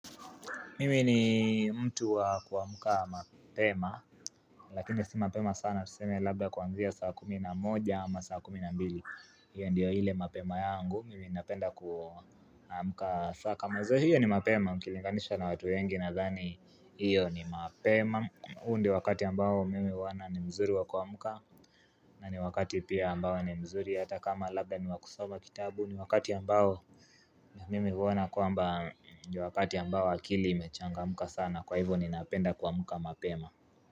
Mimi ni mtu wa kuamuka mapema, lakini si mapema sana tuseme labda kuanzia saa kumi na moja ama saa kumi na mbili. Iyo ndio ile mapema yangu. Mimi napenda kuamuka saa kama izo hiyo ni mapema. Mkilinganisha na watu wengi na zani hiyo ni mapema. Huu ndio wakati ambao mimi huwona ni mzuri wa kuamuka na ni wakati pia ambao ni mzuri hata kama labda ni wakusoma kitabu. Ni wakati ambao ya mimi huwona kwamba ni wakati yambao akili imechangamuka sana Kwa hivyo ninapenda kuamuka mapema.